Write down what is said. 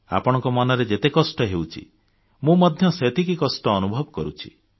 ଆପଣଙ୍କ ମନରେ ଯେତେ କଷ୍ଟ ହେଉଛି ମୁଁ ମଧ୍ୟ ସେତିକି କଷ୍ଟ ଅନୁଭବ କରୁଛି